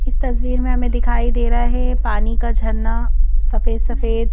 इस तस्वीर में हमें दिखाई दे रहा है पानी का झरना सफेद सफेद--